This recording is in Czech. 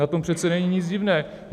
Na tom přece není nic divného.